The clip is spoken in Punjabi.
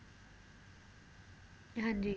ਹਾਂਜੀ